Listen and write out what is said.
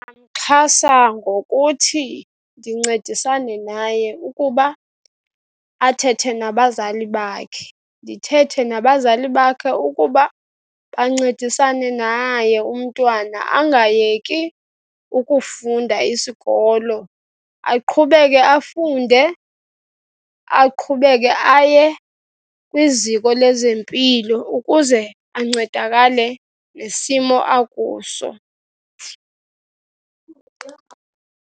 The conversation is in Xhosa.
Ndingaxhasa ngokuthi ndincedisane naye ukuba athethe nabazali bakhe. Ndithethe nabazali bakhe ukuba bancedisane naye umntwana angayeki ukufunda isikolo, aqhubeke afunde, aqhubeke aye kwiziko lezempilo ukuze ancedakale kule simo akuso.